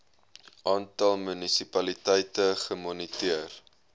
aantal munisipaliteite gemoniteer